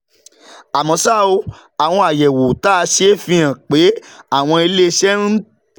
Àmọ́ ṣá o, àwọn àyẹ̀wò tá a ṣe fi hàn pé àwọn ilé iṣẹ́ ń tẹ̀